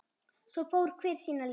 Svo fór hver sína leið.